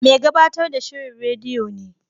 Mai gabatar da shirin rediyo ne.